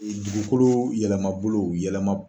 Dugukolo yɛlɛmabolo yɛlɛma